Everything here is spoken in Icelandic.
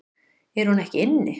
Er hún ekki inni?